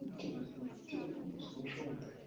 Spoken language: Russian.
интересно где он услышал